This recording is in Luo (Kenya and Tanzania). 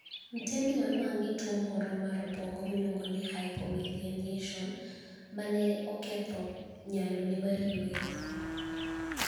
Mtembi ni e oniwanig' gi tuwo moro mar obwonigo miluonigo nii hypomyeliniationi ma ni e oketho niyalo mare mar yweyo.